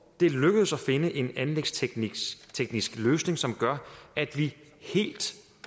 er lykkedes at finde en anlægsteknisk løsning som gør at vi helt